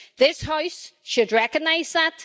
This House should recognise that.